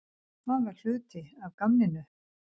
Það var hluti af gamninu.